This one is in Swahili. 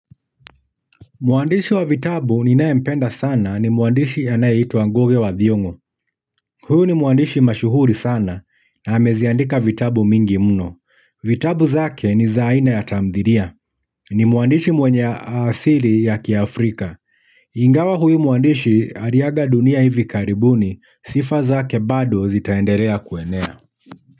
Mwandishi wa vitabu ninayempenda sana ni mwandishi anayeitwa ngugi wa thiongo. Huyu ni mwandishi mashuhuri sana na ameziandika vitabu mingi mno. Vitabu zake ni zaina ya tamthilia. Ni mwandishi mwenye asili ya kiafrika. Ingawa huyu mwandishi aliaga dunia hivi karibuni sifa zake bado zitaendelea kuenea.